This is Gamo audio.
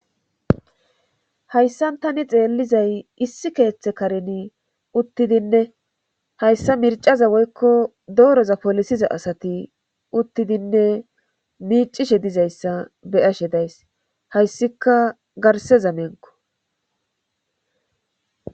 hayssan tani xeellizay issi keeththe kareni uttidinne hayssa mircaza woykko dooroza polisiza asati uttidinne miicishe dizayssa beyashe days hayssika garse zamenko